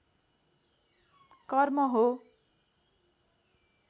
कर्म हो